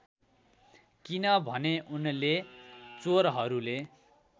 किनभने उनले चोरहरूले